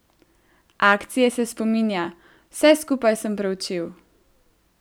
Akcije se spominja: 'Vse skupaj sem preučil.